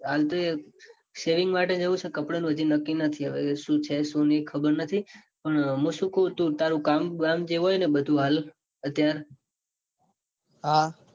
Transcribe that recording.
હાલ તો shaving માટે જાઉં છે. કપડાં નું તો હજુ નક્કી નથી. હવે સુ છે સુ નાઈ ખબર નથી. પણ મુ સુ કૌ તારૂ કામ બામ જે હોયને બધું હાલ અત્યાર હા